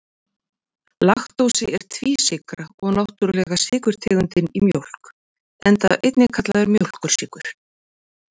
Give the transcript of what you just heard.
Laktósi er tvísykra og náttúrulega sykurtegundin í mjólk, enda einnig kallaður mjólkursykur.